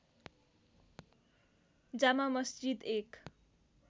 जामा मस्जिद एक